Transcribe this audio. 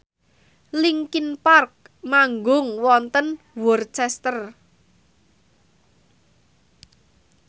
linkin park manggung wonten Worcester